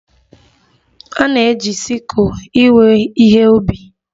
A na-eji sikụl ewe ihe ubi.